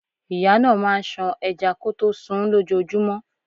Ìyá náà máà ń ṣan ẹja kọtó sunún lójojúmọ́.